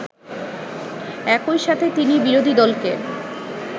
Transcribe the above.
একইসাথে তিনি বিরোধীদলকে